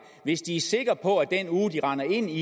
hvis de er sikre på at den uge de render ind i